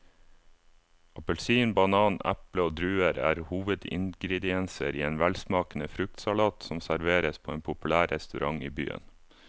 Appelsin, banan, eple og druer er hovedingredienser i en velsmakende fruktsalat som serveres på en populær restaurant i byen.